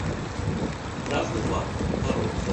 красный бархат коррупция